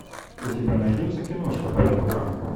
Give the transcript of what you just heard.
у тебя найдется киношка по типу драмы